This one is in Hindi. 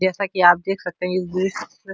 जैसा कि आप देख सकते है इस --